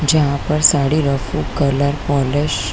जहाँ पर साड़ी रफ्फू कलर पॉलिश --